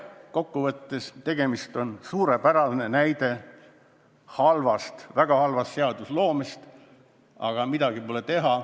Kokkuvõttes on see eelnõu suurepärane näide väga halvast seadusloomest, aga midagi pole teha.